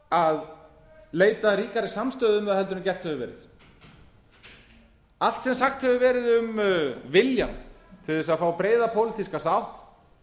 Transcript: að leita ríkari samstöðu um það heldur en gert hefur verið allt sem sagt hefur verið um viljann til að fá breiða pólitíska sátt